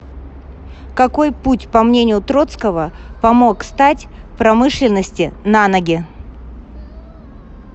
какой путь по мнению троцкого помог стать промышленности на ноги